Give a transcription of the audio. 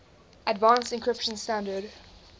advanced encryption standard